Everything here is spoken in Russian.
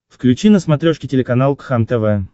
включи на смотрешке телеканал кхлм тв